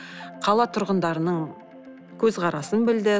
қала тұрғындарының көзқарасын білді